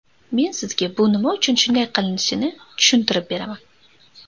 Men sizga bu nima uchun shunday qilinishini tushuntirib beraman.